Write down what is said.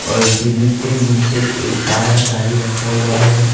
और बिल्डिंग के नीचे एक काला गाड़ी रखा हुआ है।